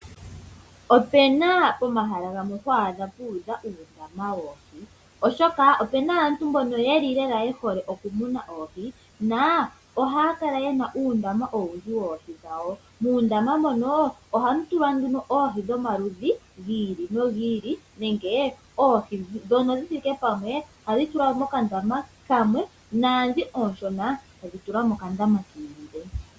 Pena pomahala gamwe ho adha puudha uundama woohi. Oshoka pena aantu mboka yeli lela ye hole okumuna oohi. Na ohaya kala yena uundama owundji woohi dhawo. Muundama mono ohamu tulwa nduno oohi dhomaludhi gi ili nogi ili. Nenge oohi ndhono dhi thike pamwe ohadhi tulwa mokandama kamwe. Naandhi oonshona tdhi tulwa mokandama ki ili le.